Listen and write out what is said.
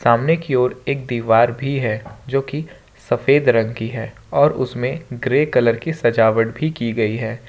सामने की ओर दीवार भी है जो की सफेद रंग की है और उसमें ग्रे कलर की सजावट भी की गई है।